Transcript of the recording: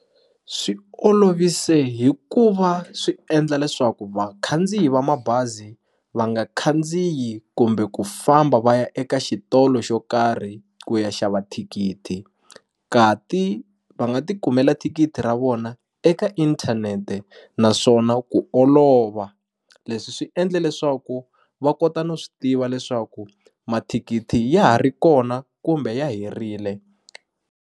Swi olovise hi ku va swi endla leswaku vakhandziyi va mabazi va nga khandziyi kumbe ku famba va ya eka xitolo xo karhi ku ya xava thikithi ka ti va nga ti kumela thikithi ra vona eka inthanete naswona ku olova leswi swi endle leswaku va kota no swi tiva leswaku mathikithi ya ha ri kona kumbe ya herile.